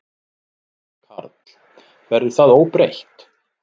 Karl: Verður það óbreytt?